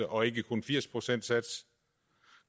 og ikke kun en firs procentssats